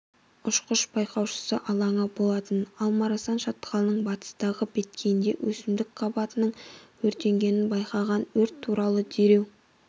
ұшқыш-байқаушысы алаңы болатын алмарасан шатқалының батыстағы беткейінде өсімдік қабатының өртенгенін байқаған өрт туралы дереу